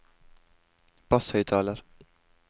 basshøyttaler